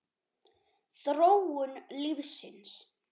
Þróun lífsins